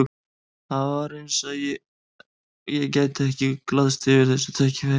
Það var eins og ég gæti ekki glaðst yfir þessu tækifæri.